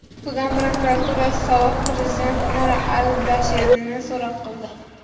Sudan prokuraturasi sobiq prezident Umar al-Bashirni so‘roq qildi.